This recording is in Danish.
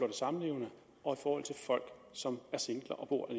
er samlevende og folk som er singler og bor